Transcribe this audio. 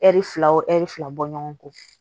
Ɛri fila wo ɛri fila bɔ ɲɔgɔn kɔ